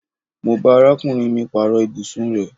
Mo bá arákùnrin mì paaro ibùsùn rẹ